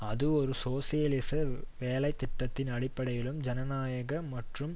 அது ஒரு சோசியலிச வேலை திட்டத்தின் அடிப்படையிலும் ஜனநாயக மற்றும்